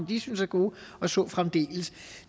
de synes er gode og så fremdeles